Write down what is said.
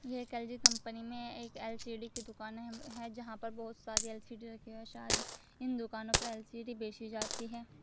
एक LG company में एक एल_सी_डी की दुकाने है है जहां पर बहोत सारे एल_सी_डी रखे हुए है शायद इन दुकानों पर एल_सी_डी बेची जाती है।